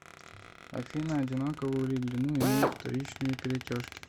афина одинаковую ли длину имеют вторичные перетяжки